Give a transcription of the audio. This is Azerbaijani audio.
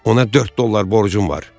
Ona dörd dollar borcum var.